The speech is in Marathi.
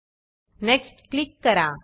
नेक्स्ट नेक्स्ट क्लिक करा